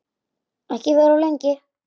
Og ekki vera of lengi.